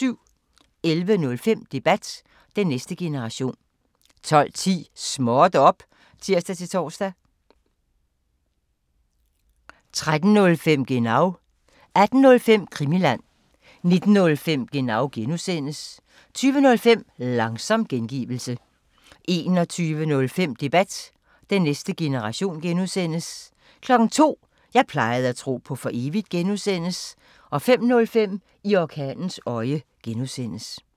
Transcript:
11:05: Debat: Den næste generation 12:10: Småt op! (tir-tor) 13:05: Genau 18:05: Krimiland 19:05: Genau (G) 20:05: Langsom gengivelse 21:05: Debat: Den næste generation (G) 02:00: Jeg plejede at tro på for evigt (G) 05:05: I orkanens øje (G)